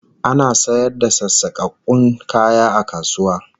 Ana sayar da sassakakkun kaya a kasuwa